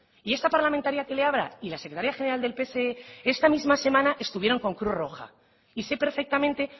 y esta parlamentaria que le habla y la secretaria general del pse esta misma semana estuvieron con cruz roja y sé perfectamente